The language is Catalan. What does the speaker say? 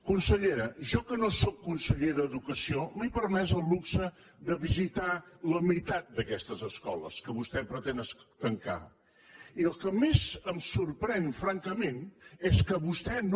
consellera jo que no sóc conseller d’educació m’he permès el luxe de visitar la meitat d’aquestes escoles que vostè pretén tancar i el que més em sorprèn francament és que vostè no